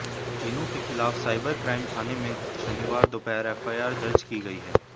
तीनों के खिलाफ साइबर क्राइम थाने में शनिवार दोपहर एफआईआर दर्ज की गई है